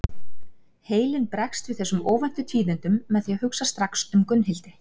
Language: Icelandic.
Heilinn bregst við þessum óvæntu tíðindum með því að hugsa strax um Gunnhildi.